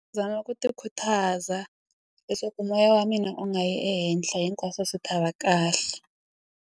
Zama ku tikhutaza leswaku moya wa mina u nga yi ehenhla hinkwaswo swi ta va kahle.